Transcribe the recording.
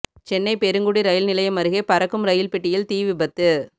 Chennai Perungudi rail நிலையம் அருகே பறக்கும் ரயில் பெட்டியில் தீ விபத்து